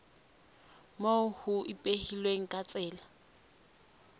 moo ho ipehilweng ka tsela